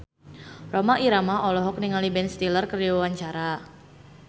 Rhoma Irama olohok ningali Ben Stiller keur diwawancara